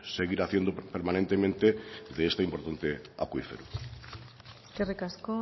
seguir haciendo permanentemente de este importante acuífero eskerrik asko